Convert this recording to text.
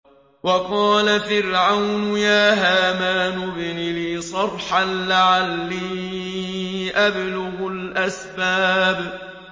وَقَالَ فِرْعَوْنُ يَا هَامَانُ ابْنِ لِي صَرْحًا لَّعَلِّي أَبْلُغُ الْأَسْبَابَ